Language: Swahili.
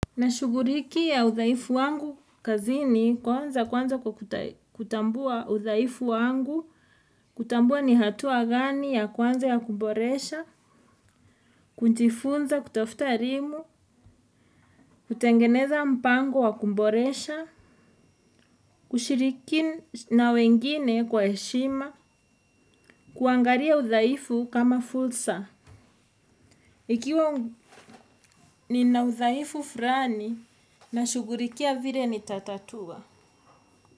Nashughulikia udhaifu wangu kazini kwanza kwanza kwa kutambua udhaifu wangu kutambua ni hatua gani ya kwanza ya kuboresha kujifunza kutafuta elimu. Kutengeneza mpango wa kuboresha. Kushiriki na wengine kwa heshima. Kuangalia udhaifu kama fursa. Ikiwa ni na udhaifu fulani nashughulikia vile ni tatatua.